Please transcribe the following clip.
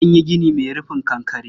Akan yi gini mai rufin kankare.